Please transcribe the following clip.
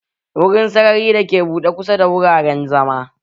Wurin sarari dake buɗe kusa da wuraren zama.